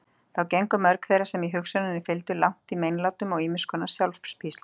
Þá gengu mörg þeirra sem hugsjóninni fylgdu langt í meinlátum og ýmiss konar sjálfspíslum.